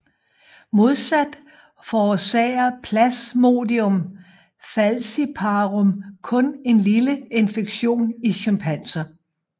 Modsat forårsager Plasmodium falciparum kun en lille infektion i chimpanser